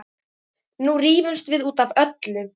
Nú rífumst við út af öllu.